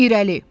İrəli.